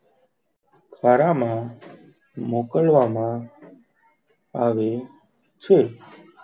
ખરા માં મોકવામાં આવે છ.